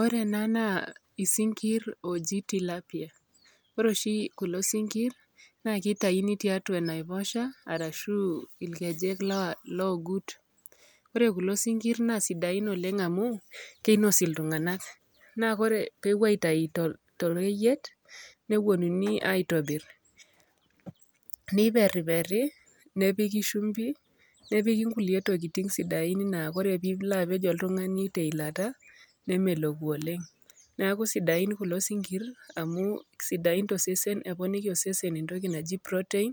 Ore ena naa isinkir ooji tilapia, ore oshi kulo sinkir naake itayuni tiatua enaiposha arashu irkejek laa loogut. Ore kulo sinkir naa sidain oleng' amu kinos iltung'anak naa kore pee epuo aitayu to toreyiet, neponunui aitobir niperiperi nepiki shumbi, nepiki nkulie tokitin sidain naa kore piilo apej oltung'ani te ilata nemeloku oleng'. Neeku sidain kulo sinkir amu sidain to sesen eponiki osesen entoki naji protein